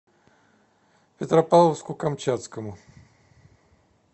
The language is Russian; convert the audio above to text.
петропавловску камчатскому